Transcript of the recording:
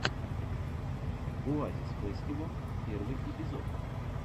оазисфэстивал первый эпизод